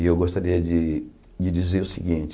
E eu gostaria de de dizer o seguinte,